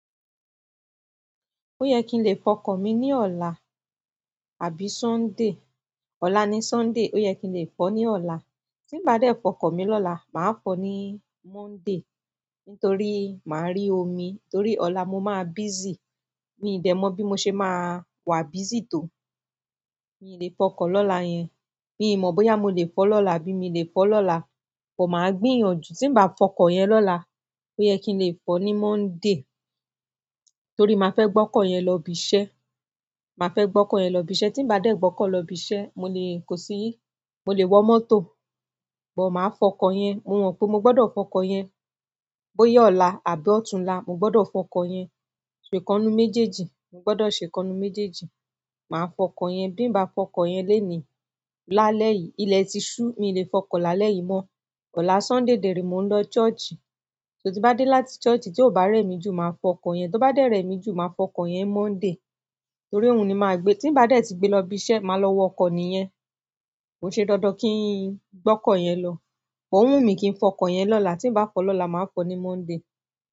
Ó yẹ kí n lè fọ ọkọ̀ mi ní ọ̀la, àbí Sunday. Ọ̀la ni Sunday, ó yẹ kí n lè fọ̀ọ́ ní ọ̀la. Tí ǹ bá dé fọ ọkọ̀ mi lọ́la, màá fọ̀ọ́ ní Monday, nítorí máà rí omi. Torí ọ̀la mo máa busy. Miì dẹ̀ mọ̀ bí mo ṣe máa wà busy tó. Miì lè fọ ọkọ̀ lọ́la yẹn. Mi ò mọ̀ bóyá mo lè fọ lọ́la bí i mi lè fọ lọ́la, bọ̀ máa gbìyànjú tí n bá fọ ọkọ̀ yẹn lọ́la, ó yẹ kí n lè fọ ní Monday, torí màá fẹ́ gbọ́kọ̀ yẹn lọ ibi iṣẹ́. Màá fẹ́ gbọ́kọ̀ọ̀ yẹn lọ ibi iṣẹ́. Tí n bá dẹ̀ gbọ́kọ̀ọ̀ lọ ibi iṣẹ́, mo lè-- kò sí, mo lè wọ mọ́tò, but máa fọ ọkọ̀ yẹn. Mo mọ̀ pé mo gbọdọ̀ fọ ọkọ̀ yẹn. Bóyá ọ̀la àbí ọ̀túnla, mo gbọdọ̀ fọ ọkọ̀ yẹn. So ìkan ńnú méjèèjì, mo gbọdọ̀ ṣèkan ńnú méjèèjì. Màá fọ ọkọ̀ yẹn. Bí n bá fọ ọkọ̀ yẹn lénìí, lálẹ́ yìí, ilẹ̀ ti ṣú, miì lè fọ ọkọ̀ lálẹ́ yìí mọ. Ọ̀la Sunday dẹ̀ rèé, mò ń lọ church. So tí n bá dé láti church tí ò bá rẹ̀ mí jù, màá fọ ọkọ̀ yẹn. Tí ó bá dẹ̀ rẹ̀ mí jù, màá fọ ọkọ̀ yẹn ńMonday, torí òun ni màá gbé. Tí n bá dẹ̀ tí gbé lọ ibi iṣẹ́, màá lọ wọ ọkọ̀ nìyẹn. Kò ń ṣe dandan kí n gbọ́kọ̀ yẹn lọ. Ó wù mí kí n fọ ọkọ̀ yẹn lọ́la. Tí n bá fọ̀ọ́ lọ́la, màá fọ ní Monday.